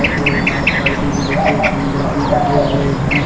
और यहां पर बिजली के खंभे भी लगे हुए हैं।